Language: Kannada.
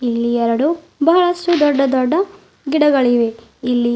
ಇಲ್ಲಿ ಎರಡು ಬಹಳಷ್ಟು ದೊಡ್ಡ ದೊಡ್ಡ ಗಿಡಗಳಿವೆ ಇಲ್ಲಿ.